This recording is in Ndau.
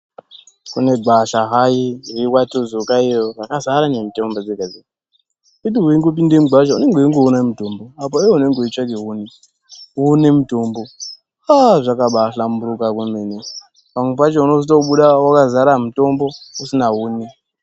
Kune gwasha hai rekwatuzuka iyo rakazara nemitombo dzega dzega wekuti weipinda mugwasha unenge weingoona mutombo apo iwewe unenge uchitsvake huni woone mutombo haa zvakabahlamburuka kwemene. Pamwe pacho unozobuda wakazara mutombo usina huni.